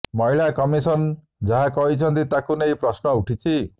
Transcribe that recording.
ମହିଳା କମିଶନ ଯାହା କହିଛନ୍ତି ତାକୁ ନେଇ ପ୍ରଶ୍ନ ଉଠିଛି